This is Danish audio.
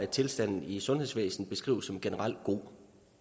tilstanden i sundhedsvæsenet beskrives som generelt god